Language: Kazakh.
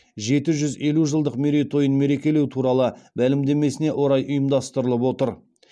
жеті жүз елу жылдық мерейтойын мерекелеу туралы мәлімдемесіне орай ұйымдастырылып отыр